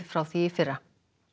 frá því í fyrra